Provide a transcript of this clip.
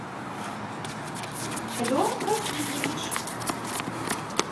эдуард васильевич